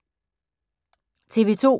TV 2